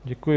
Děkuji.